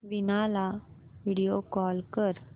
वीणा ला video call कर